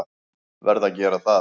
Verð að gera það.